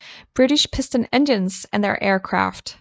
British Piston Engines and their Aircraft